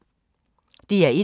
DR1